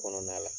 Kɔnɔna la